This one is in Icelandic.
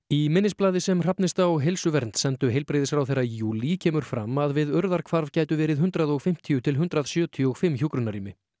í minnisblaði sem Hrafnista og Heilsuvernd sendu heilbrigðisráðherra í júlí kemur fram að við gætu verið hundrað og fimmtíu til hundrað sjötíu og fimm hjúkrunarrými